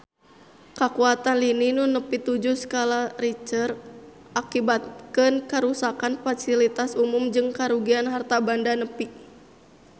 Kakuatan lini nu nepi tujuh skala Richter ngakibatkeun karuksakan pasilitas umum jeung karugian harta banda nepi ka 1 triliun rupiah